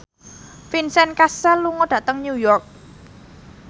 Vincent Cassel lunga dhateng New York